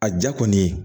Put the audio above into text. A ja kɔni